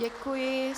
Děkuji.